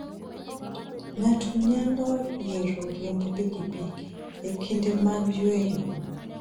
Ng'ato nyalo yiero riembo pikipiki e kinde mag yueyo.